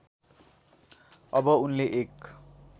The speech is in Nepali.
अब उनले एक